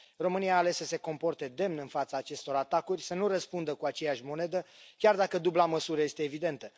România a ales să se comporte demn în fața acestor atacuri, să nu răspundă cu aceeași monedă, chiar dacă dubla măsură este evidentă.